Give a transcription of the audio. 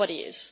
Nobody is.